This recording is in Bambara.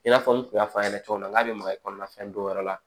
I n'a fɔ n kun y'a fɔ a ɲɛna cogo min na n k'a be maga kɔni fɛn dɔw yɛrɛ la